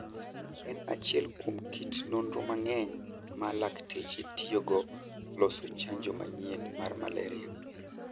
en achiel kuom kit nonro mang'eny ma lakteche tiyogokuon loso chanjo manyien mar malaria.